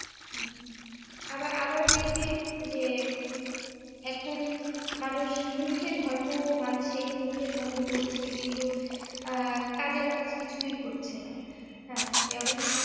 উম আবার আবার দেখি যে এখন মানুষ মুখে ধর্ম মানছে, মুখে ধর্ম বলছে কিন্তু আহ কাজের কাজ কিছুই করছে না। হ্যাঁ যেমন